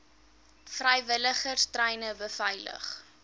vrywilligers treine beveilig